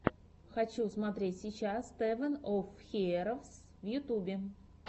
хочу смотреть сейчас тэвэн оф хиэровс в ютюбе